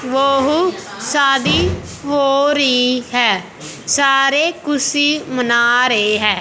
वो हो शादी हो री है सारे ख़ुशी मना रहे हैं।